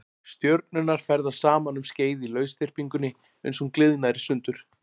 Stjörnurnar ferðast saman um skeið í lausþyrpingunni uns hún gliðnar í sundur.